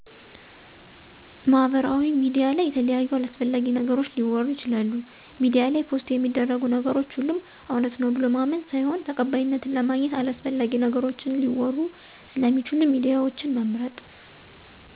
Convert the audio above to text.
ማሀበራውያ ሚዲያ ለይ የተለያዩ አላሰፍላጊ ነገሮች ሊወሩ ይችላሉ ሜዲያ ላይ ፖሰት የሚደርጉ ነገሮች ሆሎም እውነት ነው ብሎ ማመን ሳይሆን ተቀባይነትን ለማግኝት አላሰፍላጊ ነገሮችን ሊወሩ ሰለሚችሉ ሚዲያወችን መምርጥ።